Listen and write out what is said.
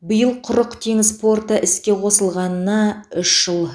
биыл құрық теңіз порты іске қосылғанына үш жыл